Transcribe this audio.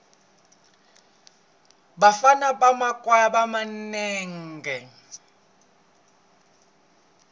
vafana va makhwaya va ba nenge